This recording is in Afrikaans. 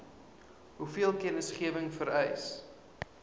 hoeveel kennisgewing vereis